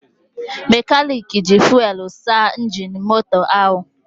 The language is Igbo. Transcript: Mekanik ji fuwelụ saa injin moto ahụ.